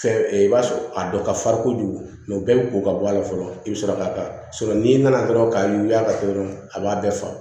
Fɛn i b'a sɔrɔ a dɔ ka farin kojugu o bɛɛ bɛ ko ka bɔ a la fɔlɔ i bɛ sɔrɔ ka n'i nana dɔrɔn k'a yuguyugu k'a kɛ dɔrɔn a b'a bɛɛ faga